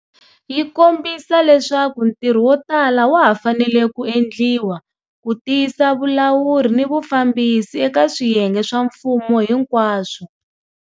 Yi kombisa leswaku ntirho wotala wa ha fanele ku endliwa ku tiyisa vulawuri ni vufambisi eka swiyenge swa mfumo hinkwaswo.